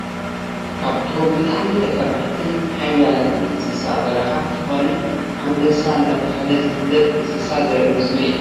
ካብቶም ብጣዕሚ ተፈራሕትን ሓያላትን እንስሳ በረካ ዝኮነ ኣንበሳ እናተባሃለ ዝፍለጥ እንስሳ ዘርኢ ምስሊ እዩ፡፡